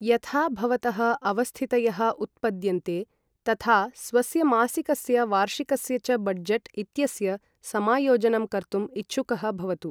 यथा भवतः अवस्थितयः उत्पद्यन्ते, तथा स्वस्य मासिकस्य वार्षिकस्य च बड्जट् इत्यस्य समायोजनं कर्तुं इच्छुकः भवतु।